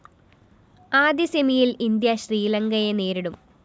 ആദ്യ സെമിയില്‍ ഇന്ത്യ ശ്രീലങ്കയെ നേരിടും